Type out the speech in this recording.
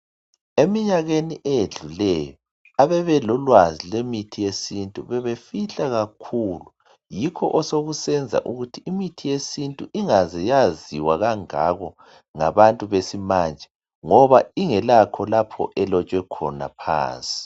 Eminyakeni eyedluleyo ababe lolwazi lwemithi yesintu bebefihla kakhulu yikho osekusenza ukuthi imithi yesintu ingaze yaziwa kangako ngabantu besimanje ngoba ingelakho lapho elotshwe khona phansi